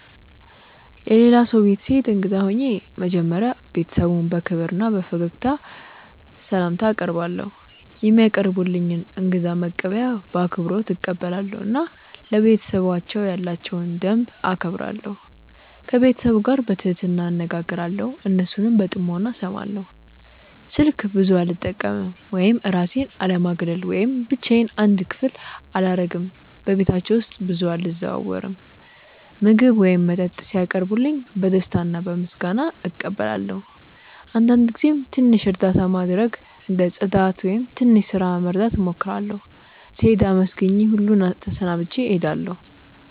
የሌላ ሰው ቤት ስሄድ እንግዳ ሆኜ መጀመሪያ ቤተሰቡን በክብር እና በፈገግታ ስላምታ አቀርባለው፧ የሚያቀርቡልኝን እንግዳ መቀበያ በአክብሮት እቀበላለሁ እና ለቤተሰባቸው ያላቸውን ደንብ እከብራለሁ። ከቤተሰቡ ጋር በትህትና እነጋገራለው እና እነሱን በጥሞና እስማለው። ስልክ ብዙ አለመጠቀም ወይም እራሴን አለማግለል ወይም ብቻዮን አንድ ክፍል አላረግም በቤታቸው ውስጥ ብዙ አልዘዋወርም። ምግብ ወይም መጠጥ ሲያቀርቡልኝ በደስታ እና በምስጋና እቀበላለው አንዳንድ ጊዜም ትንሽ እርዳታ ማድረግ እንደ ጽዳት ወይም ትንሽ ስራ መርዳት እሞክራለሁ። ስሄድም አመስግኜ ሁሉን ተሰናብቼ እሄዳለሁ።